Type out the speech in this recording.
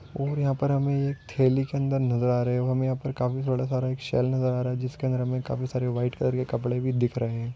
और यहांपर हमे एक थैली के अंदर नजर आ रहे हो हमे यहाँ पर काफी सारा शैल नजर आ रहा हैं जिसके अंदर हमे काफी सारे वाइट कलर के कपडे भी दिख रहे हैं।